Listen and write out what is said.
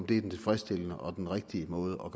den tilfredsstillende og den rigtige måde